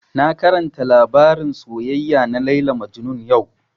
Na karanta labarin soyayya na Layla Majnun yau